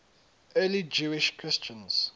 early jewish christians